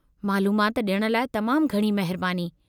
मालूमात ॾियण लाइ तमामु घणी महिरबानी।